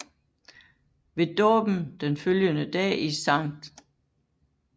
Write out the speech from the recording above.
Ved dåben den følgende dag i St